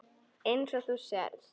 Eins og þú sérð.